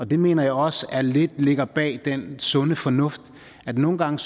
det mener jeg også lidt ligger bag det med den sunde fornuft nogle gange